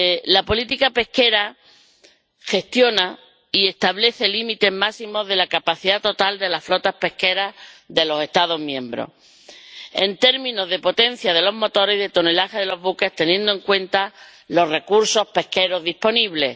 La política pesquera gestiona y establece el límite máximo de la capacidad total de las flotas pesqueras de los Estados miembros en términos de potencia de los motores y de tonelaje de los buques, teniendo en cuenta los recursos pesqueros disponibles.